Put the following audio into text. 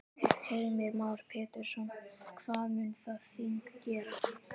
Heimir Már Pétursson: Hvað mun það þing gera?